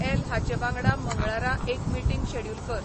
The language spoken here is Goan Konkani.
ऍल हाचे वांगडा मंगळारा एक मीटींग शॅड्युल कर